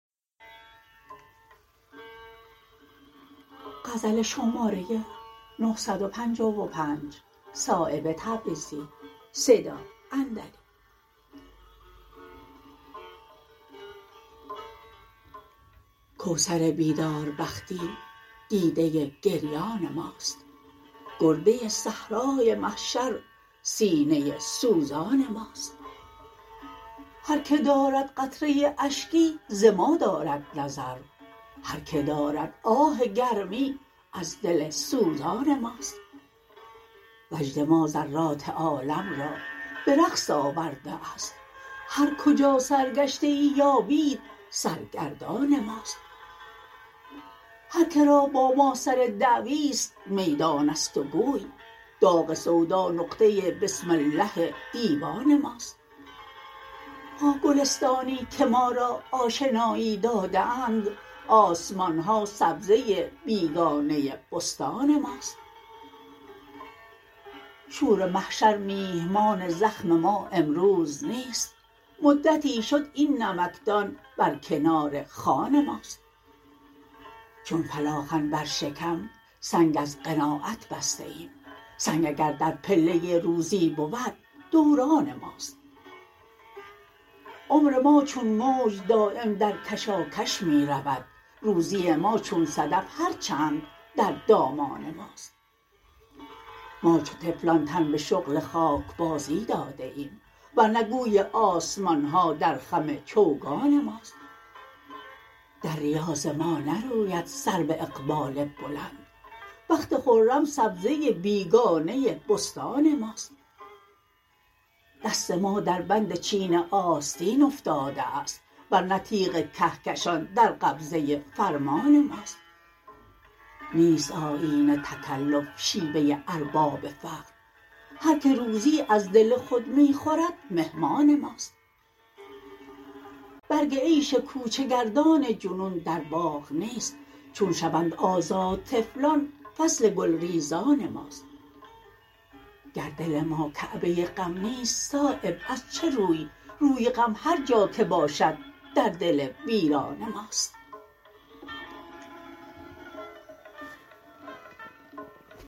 کوثر بیداربختی دیده گریان ماست گرده صحرای محشر سینه سوزان ماست هر که دارد قطره اشکی ز ما دارد نظر هر که دارد آه گرمی از دل سوزان ماست وجد ما ذرات عالم را به رقص آورده است هر کجا سرگشته ای یابید سرگردان ماست هر که را با ما سر دعوی است میدان است و گوی داغ سودا نقطه بسم الله دیوان ماست با گلستانی که ما را آشنایی داده اند آسمان ها سبزه بیگانه بستان ماست شور محشر میهمان زخم ما امروز نیست مدتی شد این نمکدان بر کنار خوان ماست چون فلاخن بر شکم سنگ از قناعت بسته ایم سنگ اگر در پله روزی بود دوران ماست عمر ما چون موج دایم در کشاکش می رود روزی ما چون صدف هر چند در دامان ماست ما چو طفلان تن به شغل خاکبازی داده ایم ورنه گوی آسمان ها در خم چوگان ماست در ریاض ما نروید سرو اقبال بلند بخت خرم سبزه بیگانه بستان ماست دست ما در بند چین آستین افتاده است ورنه تیغ کهکشان در قبضه فرمان ماست نیست آیین تکلف شیوه ارباب فقر هر که روزی از دل خود می خورد مهمان ماست برگ عیش کوچه گردان جنون در باغ نیست چون شوند آزاد طفلان فصل گلریزان ماست گر دل ما کعبه غم نیست صایب از چه روی روی غم هر جا که باشد در دل ویران ماست